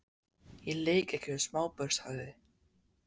Ég leik ekki við smábörn sagði